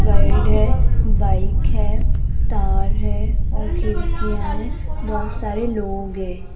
Guide है bike है तार है और खिड़कियां हैं बहुत सारे लोग है।